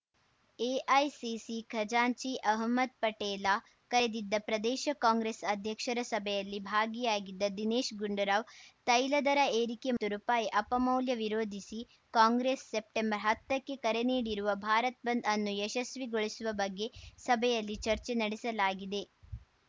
AICC ಖಜಾಂಚಿ ಅಹ್ಮದ್‌ ಪಟೇಲ ಕರೆದಿದ್ದ ಪ್ರದೇಶ ಕಾಂಗ್ರೆಸ್‌ ಅಧ್ಯಕ್ಷರ ಸಭೆಯಲ್ಲಿ ಭಾಗಿಯಾಗಿದ್ದ ದಿನೇಶ್‌ ಗುಂಡೂರಾವ್‌ ತೈಲ ದರ ಏರಿಕೆ ಮತ್ತು ರುಪಾಯಿ ಅಪಮೌಲ್ಯ ವಿರೋಧಿಸಿ ಕಾಂಗ್ರೆಸ್‌ ಸೆಪ್ಟೆಂಬರ್ಹತ್ತಕ್ಕೆ ಕರೆ ನೀಡಿರುವ ಭಾರತ್‌ ಬಂದ್‌ ಅನ್ನು ಯಶಸ್ವಿಗೊಳಿಸುವ ಬಗ್ಗೆ ಸಭೆಯಲ್ಲಿ ಚರ್ಚೆ ನಡೆಸಲಾಗಿದೆ